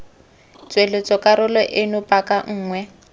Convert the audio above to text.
tsweletsa karolo eno paka nngwe